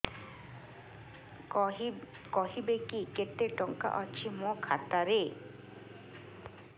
କହିବେକି କେତେ ଟଙ୍କା ଅଛି ମୋ ଖାତା ରେ